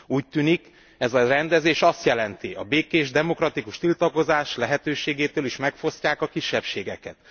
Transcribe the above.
Úgy tűnik, ez a rendezés azt jelenti, a békés, demokratikus tiltakozás lehetőségétől is megfosztják a kisebbségeket.